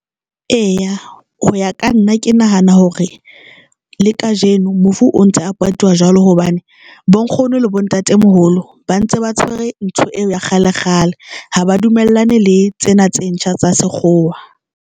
Eya, ho ya ka nna ke nahana hore le kajeno mofu o ntse a patiwa jwalo hobane bo nkgono le bo ntatemoholo ba ntse ba tshwere ntho eo ya kgale kgale ha ba dumellane le tsena tse ntjha tsa sekgowa.